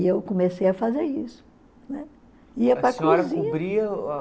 E eu comecei a fazer isso. Né